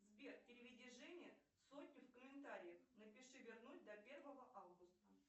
сбер переведи жене сотню в комментариях напиши вернуть до первого августа